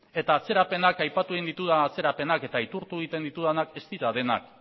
eta aipatu egin ditudan atzerapenak eta aitortu egiten ditudanak ez dira denak